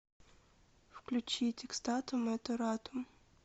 включить экстатум эт оратум